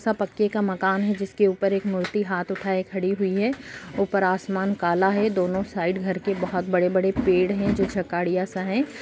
सब पक्के का मकान है जिसके ऊपर एक मूर्ति हाथ उठाये खड़ी हुई है ऊपर आसमान काला है दोनों साइड घर के बोहत बड़े-बड़े पेड़ है जो सा है।